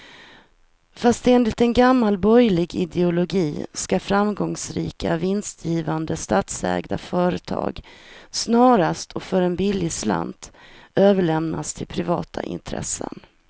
Fast enligt gammal borgerlig ideologi ska framgångsrika, vinstgivande statsägda företag snarast och för en billig slant överlämnas till privata intressen.